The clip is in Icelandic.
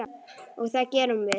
Og það gerum við.